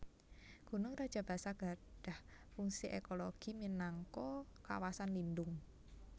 Gunung Rajabasa gadhah fungsi ekologi minangka kawasan lindhung